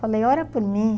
Falei, ora por mim.